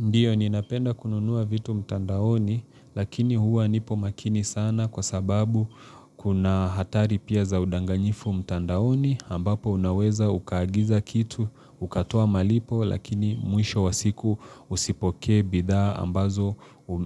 Ndiyo ninapenda kununua vitu mtandaoni lakini huwa nipo makini sana kwa sababu kuna hatari pia za udanganyifu mtandaoni ambapo unaweza ukaagiza kitu, ukatoa malipo lakini mwisho wa siku usipoke bidha ambazo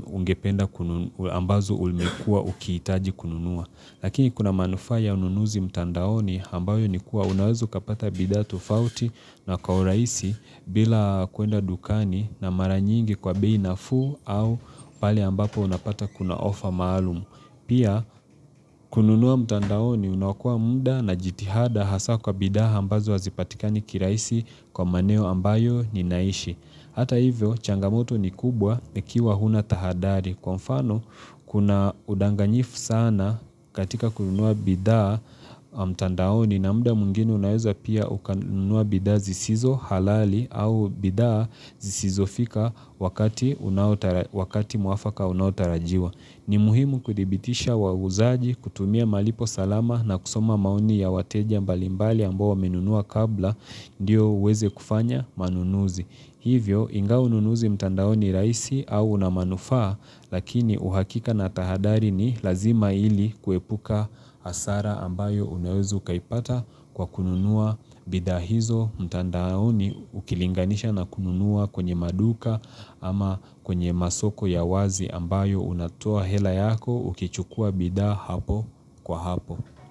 ungependa kununua, ambazo ulikuwa ukiitaji kununua. Lakini kuna manufaa ya ununuzi mtandaoni ambayo ni kuwa unaeza ukapata bidha tofauti na kwa uraisi bila kuenda dukani na mara nyingi kwa bei nafu au pale ambapo unapata kuna ofa maalum. Ndiyo ni napenda kununua vitu mtandaoni lakini huwa nipo makini sana kwa sababu Hata hivyo, changamoto ni kubwa ikiwa huna tahadhari. Kwa mfano, kuna udanganyifu sana katika kununua bidhaa mtandaoni na muda mwingine unaweza pia ukanunua bidhaa zisizo halali au bidhaa zisizo fika wakati unao wakati mwafaka unaotarajiwa. Ni muhimu kudhibitisha wauzaji kutumia malipo salama na kusoma maoni ya wateja mbalimbali ambao wamenunua kabla ndiyo uweze kufanya manunuzi. Hivyo ingawa ununuzi mtandao ni raisi au unamanufaa lakini uhakika na tahadhari ni lazima ili kuepuka hasara ambayo unaweza ukaipata kwa kununua. Bidha hizo mtandaoni ukilinganisha na kununua kwenye maduka ama kwenye masoko ya wazi ambayo unatoa hela yako ukichukua bidhaa hapo kwa hapo.